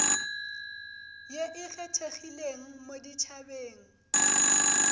ye e kgethegileng mo ditšhabeng